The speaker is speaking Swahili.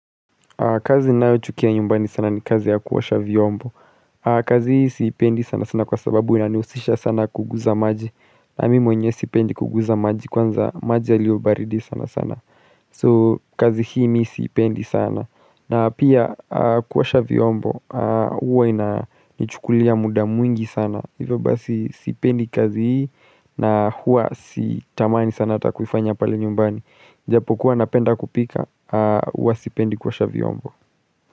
Kazi ninayo chukia nyumbani sana ni kazi ya kuosha vyombo. Kazi hii sipendi sana sana kwa sababu inanihusisha sana kugusa maji. Na mimi mwenyewe sipendi kugusa maji kwanza maji yaliyo baridi sana sana. So kazi hii mi sipendi sana. Na pia kuosha vyombo huwa inanichukulia muda mwingi sana. Hivyo basi sipendi kazi hii na huwa sitamani sana ata kuifanya pale nyumbani Japo kuwa napenda kupika Huwa sipendi kuosha vyombo.